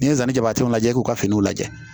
N'i ye nanzaraw lajɛ i k'u ka finiw lajɛ